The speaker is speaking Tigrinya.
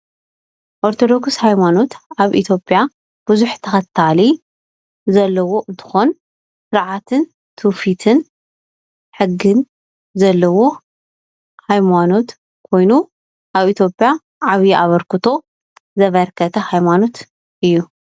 ኦርቶዶክስ ሃይማኖት ኣብ ኢ/ያ ብዙሕ ተከታሊ ዘለዎ እንትኮን ስርዓትን ትውፊትን ሕግን ዘለዎ ሃይማኖት ኮይኑ ኣብ ኢ/ያ ዓብይ ኣበርክቶ ዘበርከተ ሃይማኖት እዩ፡፡